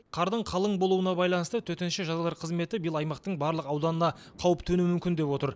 қардың қалың болуына байланысты төтенше жағдайлар қызметі биыл аймақтың барлық ауданына қауіп төнуі мүмкін деп отыр